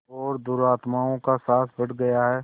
और दुरात्माओं का साहस बढ़ गया है